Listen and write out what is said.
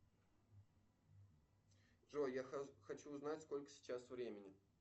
джой я хочу узнать сколько сейчас времени